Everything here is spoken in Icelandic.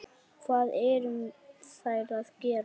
Hvað eruð þér að gera?